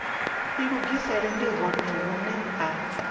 ilugisela ndi hone hune ha